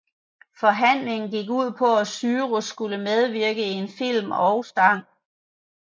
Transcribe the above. Forhandlingen gik ud på at Cyrus skulle medvirke i en film og sang